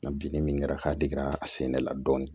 Nka bin ni min kɛra ka dig'a sɛnɛ la dɔɔnin